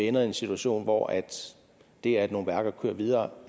ender i en situation hvor det at nogle værker kører videre